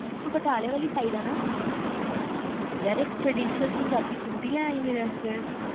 ਤੂੰ ਬਟਾਲੇ ਵਾਲੀ side ਆ ਨਾ ਇੱਕ ਪੰਜਾਬੀ traditional suit ਈ ਲੈ ਆਈ ਮੇਰੇ ਵਾਸਤੇ